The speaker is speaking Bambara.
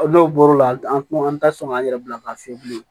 N'o bɔr'o la an kuma an tɛ sɔn k'an yɛrɛ bila ka fiyɛ bilen